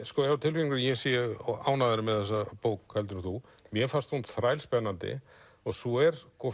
hef á tilfinningunni að ég sé ánægðari með þessa bók heldur en þú mér fannst hún þrælspennandi og svo er